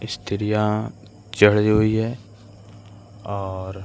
स्त्रियाँ चढ़ी हुईं हैं और --